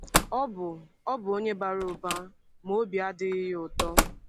Ọ bụ Ọ bụ onye bara ụba, ma obi adịghị ya ụtọ.